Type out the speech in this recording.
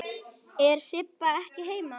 Er Sibba ekki heima?